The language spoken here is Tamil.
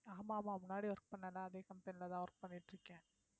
ஆமாம்மா முன்னாடி work பண்ணல அதே company லதான் work பண்ணிட்டு இருக்கேன்